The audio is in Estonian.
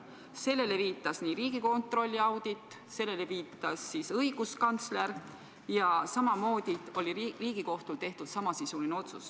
Sellele viitas Riigikontrolli audit, sellele viitas õiguskantsler ja ka Riigikohtul oli tehtud samasisuline otsus.